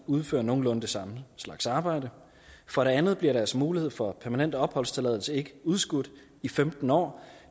udfører nogenlunde den samme slags arbejde for det andet bliver deres mulighed for permanent opholdstilladelse ikke udskudt i femten år